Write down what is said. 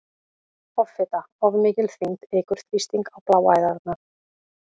Offita- Of mikil þyngd eykur þrýsting á bláæðarnar.